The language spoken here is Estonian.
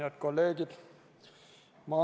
Head kolleegid!